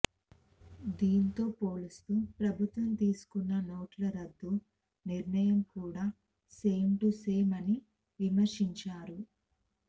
దీంతో పోలుస్తూ ప్రభుత్వం తీసుకున్న నోట్ల రద్దు నిర్ణయం కూడా సేమ్ టు సేమ్ అని విమర్శించారు